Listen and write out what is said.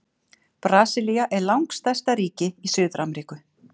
Brasilía er langstærsta ríki í Suður-Ameríku.